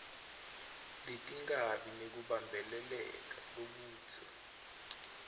letikabi nekubambeleleka lokudze